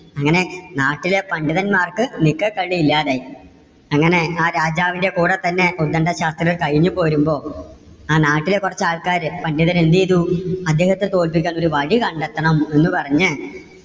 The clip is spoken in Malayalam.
അങ്ങനെ നാട്ടിലെ പണ്ഡിതന്മാർക്ക് നിക്കക്കള്ളി ഇല്ലാതെ ആയി. അങ്ങനെ ആ രാജാവിന്‍ടെ കൂടെ തന്നെ ഉത്ഗണ്ട ശാസ്ത്രികൾ കഴിഞ്ഞു പോരുമ്പോ. ആ നാട്ടിലെ കുറച്ച് ആൾക്കാര് പണ്ഡിതര് എന്ത് ചെയ്തു? അദ്ദേഹത്തെ തോൽപ്പിക്കാൻ ഒരു വഴി കണ്ടെത്തണം എന്ന് പറഞ്ഞ്